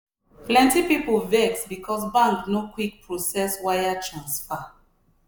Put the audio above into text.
plenty people vex because bank no quick process wire transfer.